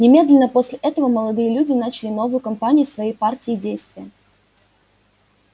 немедленно после этого молодые люди начали новую кампанию своей партии действия